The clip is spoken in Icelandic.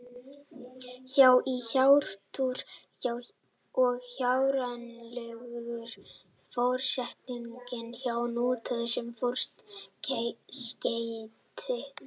Hjá- í hjátrú og hjárænulegur er forsetningin hjá notuð sem forskeyti.